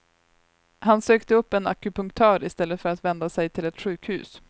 Han sökte upp en akupunktör i stället för att vända sig till ett sjukhus.